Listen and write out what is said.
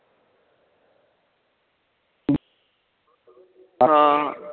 ਹਾਂ